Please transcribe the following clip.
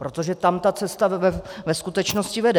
Protože tam ta cesta ve skutečnosti vede.